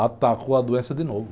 Atacou a doença de novo.